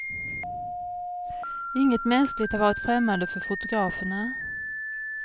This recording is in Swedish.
Inget mänskligt har varit främmande för fotograferna.